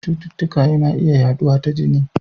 Cututtuka yana iya yaduwa ta jini.